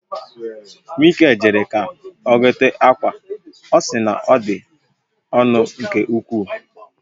Mikael jere ka ọ gote akwa, ọ si na ọ dị ọnụ nke ukwuu